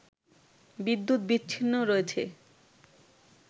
বিদ্যুৎ বিচ্ছিন্ন রয়েছে